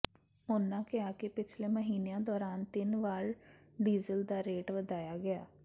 ਉਨ੍ਹਾਂ ਕਿਹਾ ਕਿ ਪਿਛਲੇ ਮਹੀਨਿਆਂ ਦੌਰਾਨ ਤਿੰਨ ਵਾਰ ਡੀਜ਼ਲ ਦਾ ਰੇਟ ਵਧਾਇਆ ਗਿਆ